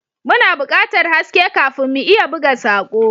Muna buƙatar haske kafin mu iya buga sako.